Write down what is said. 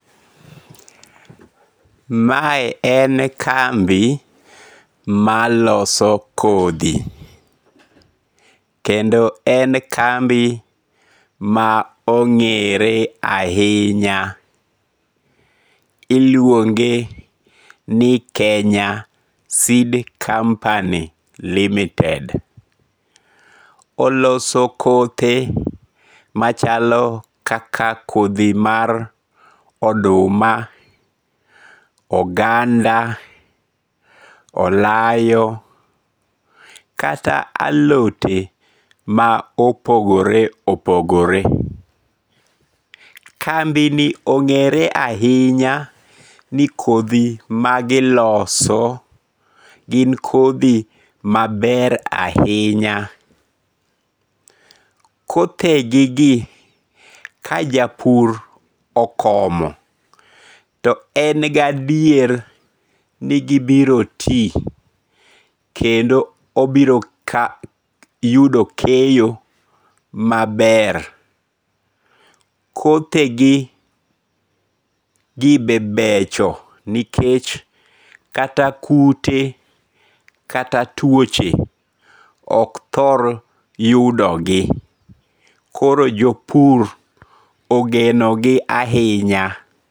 Mae en kambi maloso kothi, kendo en kambi ma onge're ahinya, iluonge ni Kenya Seed Kampany LTD. Oloso kothe machalo kaka kothi mar oduma, oganda, olayo kata alote ma opogore opogore, kambini onge're ahinya ni kothi magiloso gin kothi maber ahinya, kothegigi ka japur okomo to en gi adier ni gibiro ti kendo obiro yudo keyo maber, kothegigi be becho nikech kata kute kata tuoche ok thor yudogi koro jo pur ogenogi ahinya